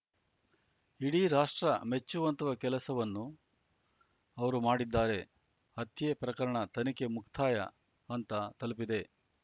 ಇಡೀ ರಾಷ್ಟ್ರ ಮೆಚ್ಚುವಂತಹ ಕೆಲಸವನ್ನು ಅವರು ಮಾಡಿದ್ದಾರೆ ಹತ್ಯೆ ಪ್ರಕರಣ ತನಿಖೆ ಮುಕ್ತಾಯ ಹಂತ ತಲುಪಿದೆ